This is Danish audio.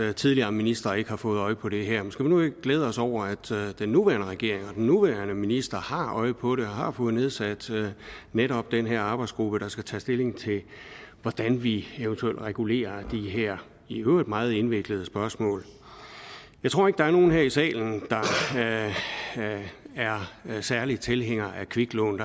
at tidligere ministre ikke har fået øje på det her men skal vi nu ikke glæde os over at den nuværende regering og den nuværende minister har øje på det og har fået nedsat netop den her arbejdsgruppe der skal tage stilling til hvordan vi eventuelt regulerer de her i øvrigt meget indviklede spørgsmål jeg tror ikke der er nogen her i salen der er særlig tilhænger af kviklån